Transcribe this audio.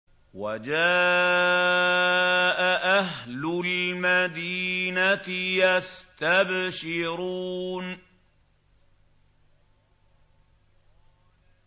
وَجَاءَ أَهْلُ الْمَدِينَةِ يَسْتَبْشِرُونَ